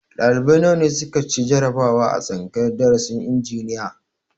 Ɗalibai nawa ne su ka ci jarabawa a tsangayar darasin injiniya?